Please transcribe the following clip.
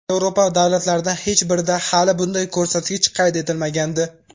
Yevropa davlatlaridan hech birida hali bunday ko‘rsatkich qayd etilmagandi.